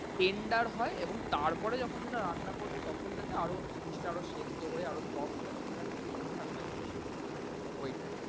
tender এবং তারপরে যখন সেটা রান্না করবে তখন যাতে আরও জিনিস টা সেদ্দ হয়ে আরও soft হয়ে যায় তাহলে একদম ঠিকঠাক হয় জিনিসটা। ওইটায়।